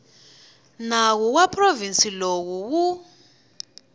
nawu wa provhinsi lowu wu